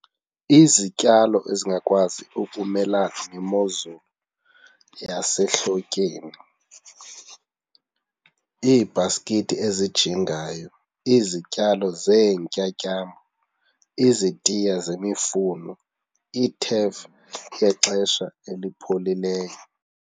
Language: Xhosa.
Izityalo ezingakwazi ukumelana nemozulu yasehlotyeni, iibhaskithi ezijingayo, izityalo zeentyambo, izitiya zemifuno, iithefu yexesha elipholileyo.